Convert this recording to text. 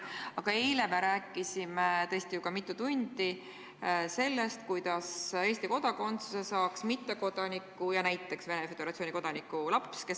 Aga eile me rääkisime tõesti ju ka mitu tundi sellest, et Eesti kodakondsuse saaks mittekodaniku ja näiteks Venemaa Föderatsiooni kodaniku laps.